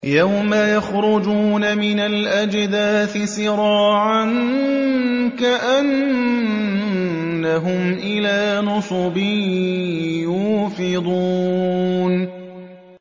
يَوْمَ يَخْرُجُونَ مِنَ الْأَجْدَاثِ سِرَاعًا كَأَنَّهُمْ إِلَىٰ نُصُبٍ يُوفِضُونَ